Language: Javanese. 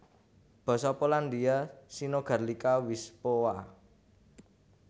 Basa Polandia synogarlica wyspowa